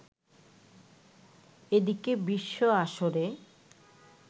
এদিকে বিশ্ব আসরে